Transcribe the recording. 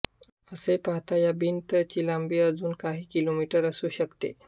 असे पाहता या भिंत ची लांबी अजून काही किलोमीटर असू शकते